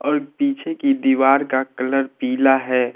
पीछे की दीवार का कलर पीला है।